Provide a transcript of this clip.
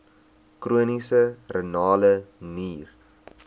chroniese renale nier